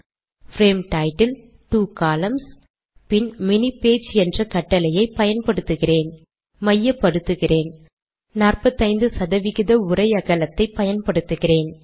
frame title two columns அப்புறம் mini page என்ற கட்டளையை பயன்படுத்துகிறேன் மையப்படுத்துகிறேன் 45 சதவிகித உரை அகலத்தை பயன்படுத்துகிறேன்